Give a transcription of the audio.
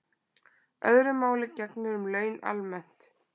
Öðru máli gegnir um laun almennt